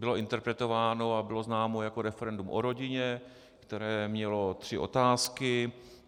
Bylo interpretováno a bylo známo jako referendum o rodině, které mělo tři otázky.